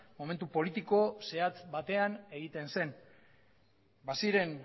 momentu politiko zehatz batean egiten zen baziren